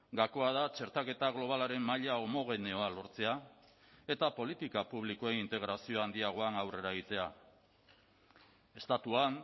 gakoa da txertaketa globalaren maila homogeneoa lortzea eta politika publikoen integrazio handiagoan aurrera egitea estatuan